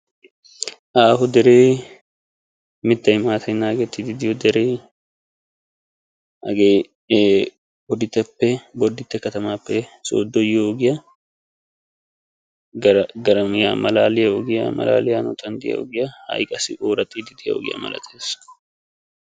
Aaho deree mittay maatay naagettiiddi diyoo deree hagee bodditteppe bodditte katamaappe sinttaara de"iyaa deriyaa garamiyaa malaaliyaa ogiyan de"iyaa ha"i qassi ooraxxiiddi diyaaba malatees.